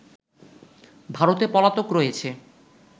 ভারতে পলাতক রয়েছে